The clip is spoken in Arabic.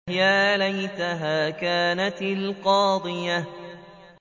يَا لَيْتَهَا كَانَتِ الْقَاضِيَةَ